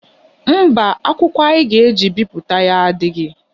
Mba, akwụkwọ a ga-eji bipụta ya adịghị.